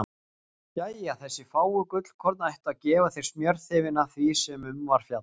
Jæja, þessi fáu gullkorn ættu að gefa þér smjörþefinn af því sem um var fjallað.